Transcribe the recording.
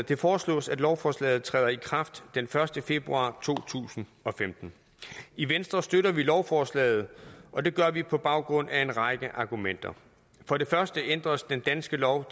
det foreslås at lovforslaget træder i kraft den første februar to tusind og femten i venstre støtter vi lovforslaget og det gør vi på baggrund af en række argumenter for det første ændres den danske lov